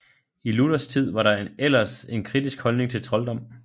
I Luthers tid var der ellers en kritisk holdning til trolddom